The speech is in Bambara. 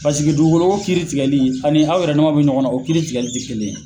Pasiki dugukolo ko kiiri tigɛli ani aw yɛrɛ dama bɛ ɲɔgɔn na o kiiri tigɛli tɛ kelen ye.